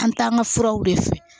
An t'an ka furaw de fɛ